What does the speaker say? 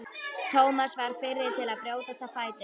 Thomas varð fyrri til að brjótast á fætur.